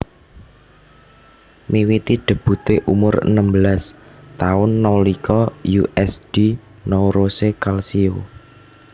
Miwiti debute umur enem belas taun nalika U S D Nuorese Calcio